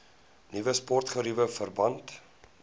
nuwe sportgeriewe verband